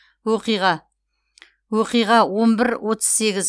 оқиға оқиға он бір отыз сегіз